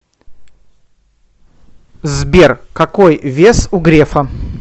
сбер какой вес у грефа